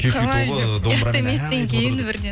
кешью тобы домбырамен ән айтып отыр деп